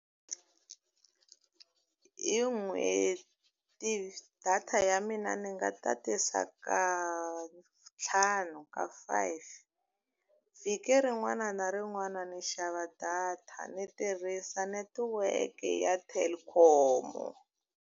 Hi n'hweti data ya mina ni nga tatisa ka ntlhanu ka five. Vhiki rin'wana na rin'wana ni xava data, ni tirhisa netiweke ya Telkom-o.